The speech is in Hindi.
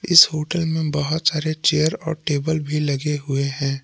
इस होटल मे बहोत सारे चेयर और टेबल भी लगे हुए हैं।